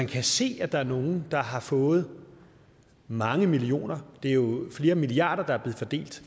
kan se at der er nogle der har fået mange millioner for det er jo flere milliarder der er blevet fordelt